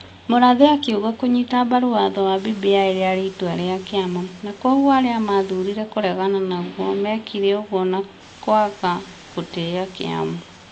Mũrathe akiuga kũnyita mbaru watho wa BBI rĩarĩ itua rĩa kĩama na kwogũo arĩa mathurire kũregana naguo mekire ũguo na nakwaga gũtĩĩa kĩama.